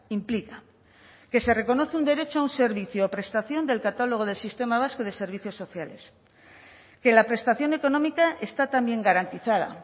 implica que se reconoce un derecho a un servicio o prestación del catálogo del sistema vasco de servicios sociales que la prestación económica está también garantizada